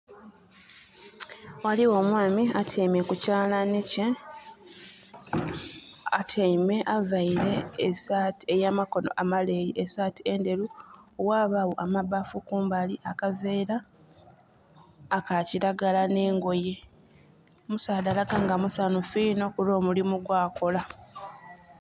Ghaligho omwami atyaime ku kyalani kye, atyaime, avaire esaati ey'amakono amaleeyi, esaati endheru. Ghabagho amabaafu kumbali, akaveera aka kilagara, n'engoye. Omusaadha alaga nga musanhufu inho kulw'omulimu gwakola.